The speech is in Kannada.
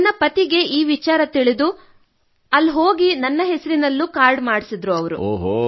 ಅಲ್ಲಿ ನನ್ನ ಪತಿಯ ತಂದೆ ಹೋಗಿ ನನ್ನ ಹೆಸರಿನಲ್ಲೂ ಕಾರ್ಡ್ ಮಾಡಿಸಿದರು